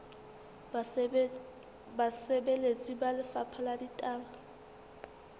basebeletsi ba lefapha la ditaba